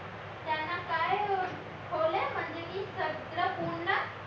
म्हणजे की पूर्ण